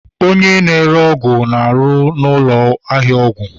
Onye na-ere ọgwụ na-arụ ọrụ na ụlọ ahịa ọgwụ